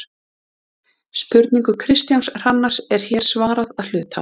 Spurningu Kristjáns Hrannars er hér svarað að hluta.